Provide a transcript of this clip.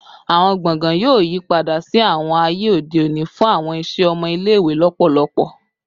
Awọn gbọngàn yoo yipada si awọn aye ode oni fun awọn iṣẹ ọmọ ile-iwe lọpọlọpọ